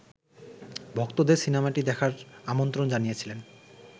ভক্তদের সিনেমাটি দেখার আমন্ত্রণ জানিয়েছিলেন